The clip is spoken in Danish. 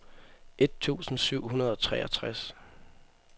et tusind syv hundrede og treogtres